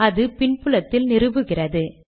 அது பின் புலத்தில் நிறுவுகிறது